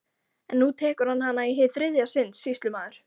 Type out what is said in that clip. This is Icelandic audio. En nú tekur hann hana í hið þriðja sinn, sýslumaður!